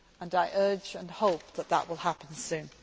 I urge and hope that this will happen soon.